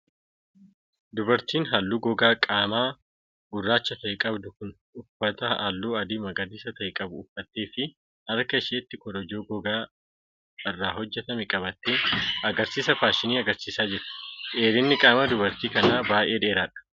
Dubartiin haalluu gogaa qaamaa gurraacha ta'e qabdu kun, uffata halluu adii magariisa ta'e qabu uffattee fi harka isheetti korojoo gogaa irraa hojjatame qabattee, agarsiisa faashinii agarsiisaa jirti. Dheerinni qaamaa dubartii kanaa baay'ee dheeraadha.